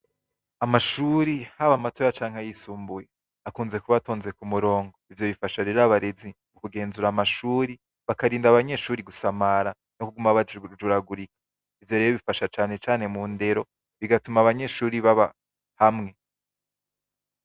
Amashure, haba matoya canke ayisumbuye ,akunze kuba atonze ku murongo. Ivyo bifasha rero abarezi kugenzura amashure, bakarinda abanyeshure gusamara no kuguma bajuragurika, Ivyo bifasha canecane mu ndero bigatuma abanyeshure baba hamwe.